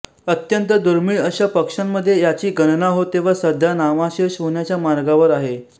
अत्यंत दुर्मिळ अश्या पक्ष्यांमध्ये याची गणना होते व सध्या नामाशेष होण्याच्या मार्गावर आहे